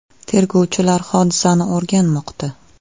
Tergovchilar hodisani o‘rganmoqda.